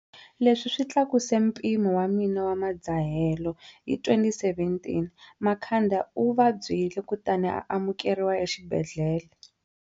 Leswi swi tlakuse mpimo wa mina wa madzahelo. Hi 2017, Makhanda u va byile kutani a amukeriwa exibedhlele.